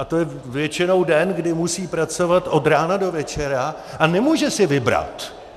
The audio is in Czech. A to je většinou den, kdy musí pracovat od rána do večera a nemůže si vybrat.